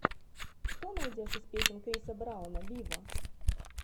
что найдешь из песен криса брауна виво